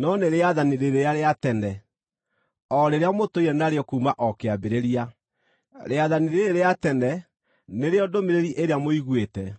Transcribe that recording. no nĩ rĩathani rĩrĩa rĩa tene, o rĩrĩa mũtũire narĩo kuuma o kĩambĩrĩria. Rĩathani rĩĩrĩ rĩa tene nĩrĩo ndũmĩrĩri ĩrĩa mũiguĩte.